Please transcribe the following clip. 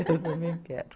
Eu também quero.